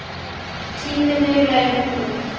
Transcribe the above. Tími þeirra er nú.